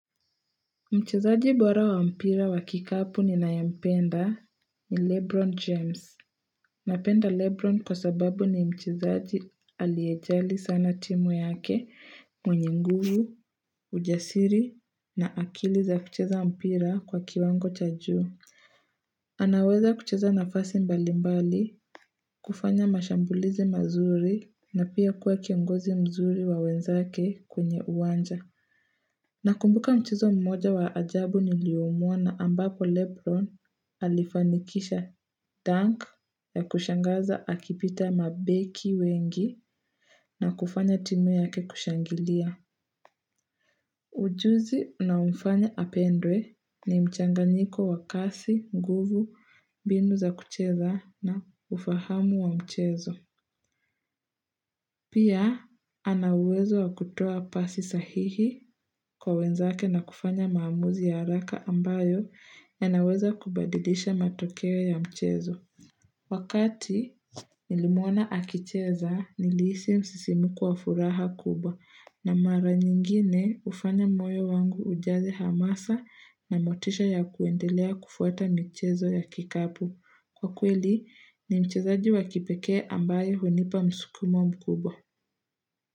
Mchezaji bora wa mpira wa kikapu ninayempenda ni Lebron James. Napenda Lebron kwa sababu ni mchezaji aliyejali sana timu yake mwenye nguvu, ujasiri na akili za kucheza mpira kwa kiwango cha juu. Anaweza kucheza nafasi mbalimbali, kufanya mashambulizi mazuri na pia kuwa kiongozi mzuri wa wenzake kwenye uwanja. Nakumbuka mchezo mmoja wa ajabu niliyomwona ambapo Lebron alifanikisha dunk ya kushangaza akipita mabeki wengi na kufanya timu yake kushangilia. Ujuzi unaomfanya apendwe ni mchanganyiko wa kasi, nguvu, mbinu za kucheza na ufahamu wa mchezo. Pia ana uwezo wa kutoa pasi sahihi kwa wenzake na kufanya maamuzi ya haraka ambayo yanaweza kubadilisha matokeo ya mchezo. Wakati nilimwona akicheza nilihisi msisimko wa furaha kubwa na mara nyingine hufanya moyo wangu ujaze hamasa na motisha ya kuendelea kufuata mchezo ya kikapu. Kwa kweli ni mchezaji wa kipekee ambayo hunipa msukumo mkubwa.